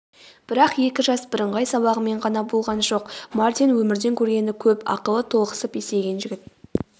бірақ екі жас бірыңғай сабағымен ғана болған жоқ мартин өмірден көргені көп ақылы толықсып есейген жігіт